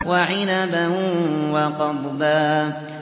وَعِنَبًا وَقَضْبًا